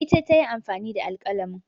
Ita ta yi amfani da alƙalamin